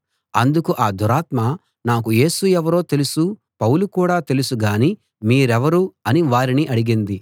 అందుకు ఆ దురాత్మ నాకు యేసు ఎవరో తెలుసు పౌలు కూడా తెలుసు గాని మీరెవరు అని వారిని అడిగింది